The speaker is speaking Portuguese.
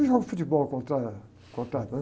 Eu jogo futebol, contra, contrata, né?